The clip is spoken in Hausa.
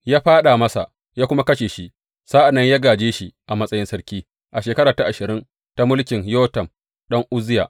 Ya fāɗa masa ya kuma kashe shi, sa’an nan ya gāje shi a matsayin sarki a shekara ta shirin ta mulkin Yotam ɗan Uzziya.